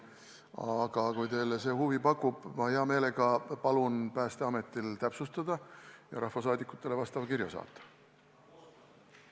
Aga kui see teile huvi pakub, ma hea meelega palun Päästeametil täpsustada ja rahvasaadikutele vastava kirja saata.